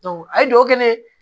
a ye duwawu kɛ ne ye